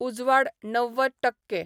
उजवाड णव्वद टक्के